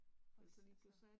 For så så